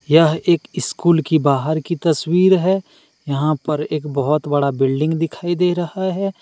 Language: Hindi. यह एक स्कूल की बाहर की तस्वीर है यहां पर एक बहुत बड़ा बिल्डिंग दिखाई दे रहा है।